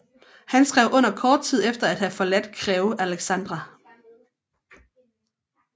Han skrev under kort tid efter at have forladt Crewe Alexandra